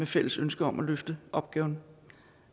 fælles ønske om at løfte opgaven